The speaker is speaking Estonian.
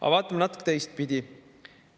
Aga vaatame natuke teistpidi.